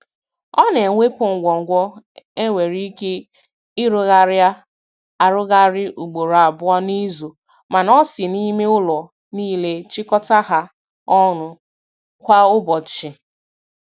Ọ na-ewepụ ngwo ngwo e nwere ike ịrụgharaị arụgharị ugboro abụọ n'izu, mana ọ si n'ime ụlọ niile chịkọta ha ọnụ kwa ụbọchị.